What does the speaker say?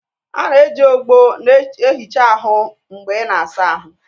A na-eji ogbo na-ehicha ahụ mgbe ị na-asa ahụ